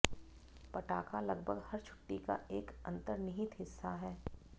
पटाखा लगभग हर छुट्टी का एक अंतर्निहित हिस्सा है